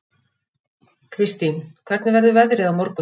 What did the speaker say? Kirstín, hvernig verður veðrið á morgun?